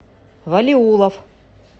валиуллов